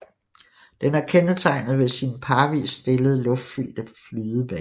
Den er kendetegnet ved sine parvist stillede luftfyldte flydeblærer